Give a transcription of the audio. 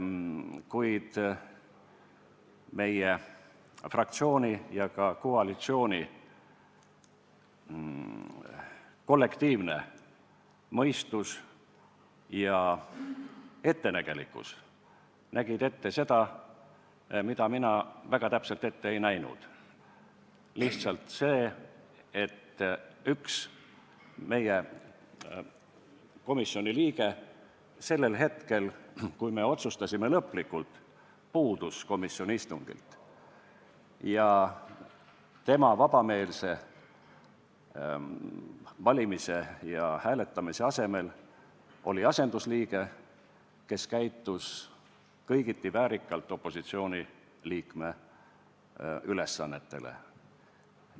Kuid meie fraktsiooni ja ka koalitsiooni kollektiivne mõistus ja ettenägelikkus nägid ette seda, mida mina väga täpselt ette ei näinud: üks meie komisjoni liige sellel hetkel, kui me lõpliku otsuse tegime, lihtsalt puudus komisjoni istungilt ja tema asemel, vabameelselt hääletaja asemel, oli asendusliige, kes käitus kõigiti opositsiooni liikme ülesannete vääriliselt.